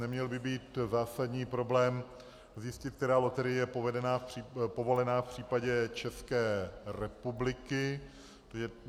Neměl by být zásadní problém zjistit, která loterie je povolená v případě České republiky.